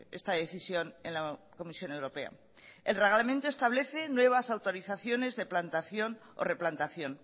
esta decisión en la comisión europea el reglamento establece nuevas autorizaciones de plantación o replantación